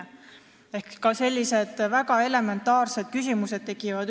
Ehk üles on kerkinud ka sellised väga elementaarsed küsimused.